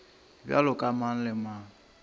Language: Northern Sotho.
bjalo ka mang le mang